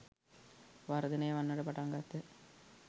වර්ධනය වන්නට පටන් ගත්හ.